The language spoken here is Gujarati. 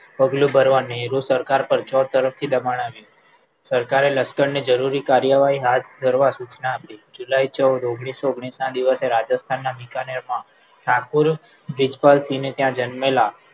પગલું ભરવા નેહરુ સરકાર પરના છ તરફથી દબાણ આવ્યું સરકારે લશકરને જરૂરી કાર્યવાહી હાથ ધરવા સૂચના આપી જુલાઈ ચૌદ ઓગણીસો ઓગણીસ દિવસે રાજસ્થાનના બિકાનેરમાં ઠાકુર બ્રિજપાલસિંહ ત્યાં જન્મેલા